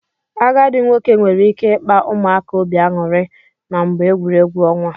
Agadi nwoke nwere ike ikpa ụmụaka obi anyụri na mgbe egwuregwu onwa.